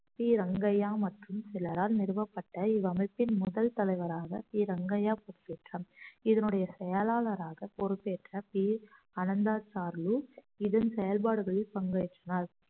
D Rangaiah மற்றும் சிலரால் நிறுவப்பட்ட இவ்வமைப்பின் முதல் தலைவராக டி ரங்கையா பொறுப்பேற்றார் இதனுடைய செயலாளராக பொறுப்பேற்ற பி அனந்தா சாருலு இதன் செயல்பாடுகளில் பங்கேற்றார்